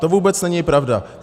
To vůbec není pravda.